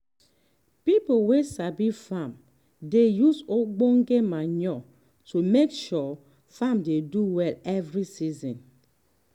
people wey sabi farm dey use ogbonge manure to make sure farm do well every season.